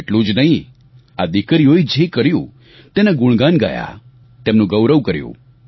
તેટલું જ નહીં આ દિકરીઓએ જે કર્યું તેના ગુણગાન ગાયા તેમનું ગૌરવ કર્યું